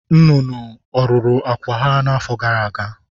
Nnụnụ ọ̀ rụrụ akwụ́ ha n’afọ gara aga?